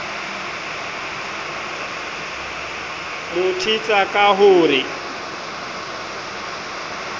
mo thetsa ka ho re